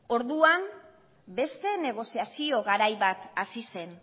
orduan beste negoziazio garai bat hasi zen